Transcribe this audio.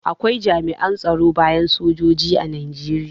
Akwai jami'an tsaro bayan sojoji a Najeriya.